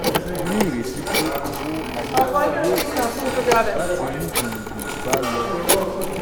a ní ìrètí pé owó àjèjì yóò pọ̀ síi láti mú gbùngbùn báa lọ.